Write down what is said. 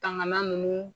Tangan ninnu